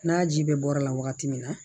N'a ji bɛ bɔra la wagati min na